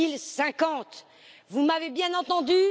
2050. Vous m'avez bien entendue?